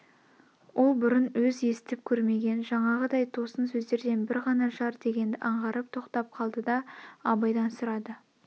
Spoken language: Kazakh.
ол бұрын өз естіп көрмеген жаңағыдай тосын сөздерден бір ғана жар дегенді аңғарып тоқтап қалды да абайдан сұрады